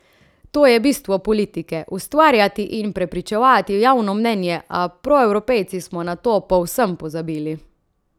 To je bistvo politike, ustvarjati in prepričevati javno mnenje, a proevropejci smo na to povsem pozabili.